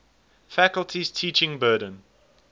faculty's teaching burden